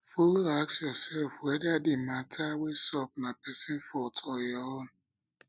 follow ask ursef weda di mata wey sup na pesin fault or ur own